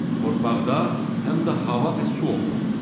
Torpaqda həm də hava və su olmalıdır.